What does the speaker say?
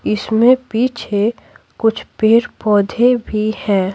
इसमें पीछे कुछ पेड़-पौधे भी हैं।